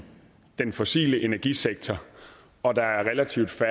den fossile energisektor og at der er relativt